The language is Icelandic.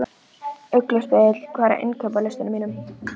Þorbjörn Þórðarson: Þetta er hreint innanríkismál Íslands?